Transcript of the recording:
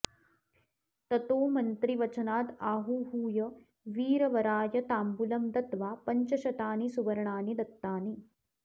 ततो मन्त्रिवचनादाहुहूय वीरवराय ताम्बूलं दत्त्वा पञ्चशतानि सुवर्णानि दत्तानि